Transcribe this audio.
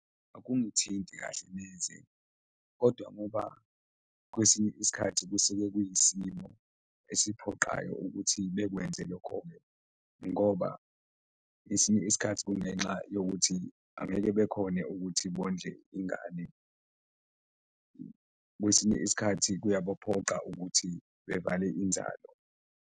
Akungithinti kahle neze kodwa ngoba kwesinye isikhathi kusuke kuyisimo esiphoqayo ukuthi bekwenze lokho-ke ngoba ngesinye isikhathi kungenxa yokuthi angeke bekhone ukuthi bondle ingane, kwesinye isikhathi kuyabaphoqa ukuthi bevale inzalo.